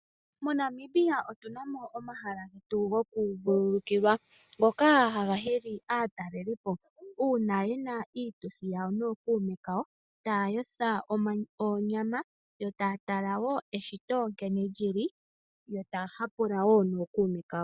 MoNamibia otuna mo omahala getu gokuvululukilwa ngoka haga hili aatalelipo , uuna yena iituthi yawo nookuume kawo taa yotha oonyama yo taa tala wo eshito nkene lyili, yo taa hapula wo nookuume kawo.